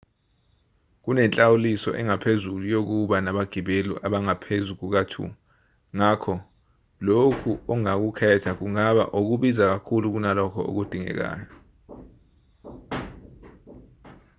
kunenhlawuliso engaphezulu yokuba nabagibeli abangaphezu kuka-2 ngakho lokhu ongakukhetha kungaba okubiza kakhulu kunalokho okudingekayo